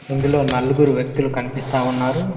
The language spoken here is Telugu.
ఇందులో నలుగురు వ్యక్తులు కనిపిస్తా ఉన్నారు.